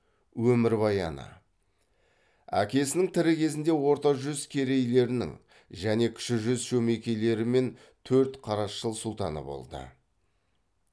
өмірбаяны әкесінің тірі кезінде орта жүз керейлерінің және кіші жүз шөмекейлері мен төртқарасшыл сұлтаны болды